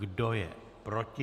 Kdo je proti?